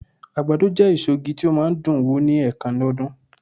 àgbàdo je èso ìgi ti o ma n dùn wù ni enkan ní ọdún